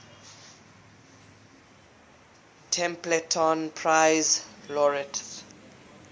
templeton prize laureates